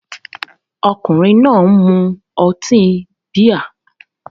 Ọkùnrin náà ń mu ọtí bíà